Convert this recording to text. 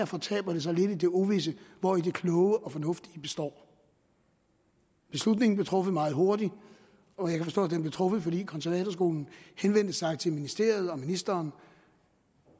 fortaber sig lidt i det uvisse hvori det kloge og fornuftige består beslutningen blev truffet meget hurtigt og jeg kan forstå at den blev truffet fordi konservatorskolen henvendte sig til ministeriet og ministeren